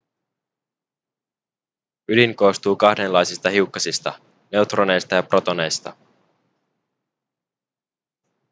ydin koostuu kahdenlaisista hiukkasista neutroneista ja protoneista